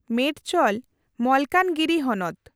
ᱢᱮᱰᱪᱚᱞ ᱢᱚᱞᱠᱟᱡᱽᱜᱤᱨᱤ ᱦᱚᱱᱚᱛ᱾